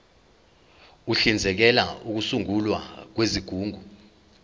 uhlinzekela ukusungulwa kwezigungu